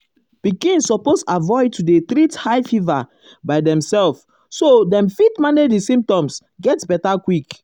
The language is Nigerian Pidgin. pikin suppose avoid to dey treat high fever by fever by demself so dem fit manage di symptoms get beta quick.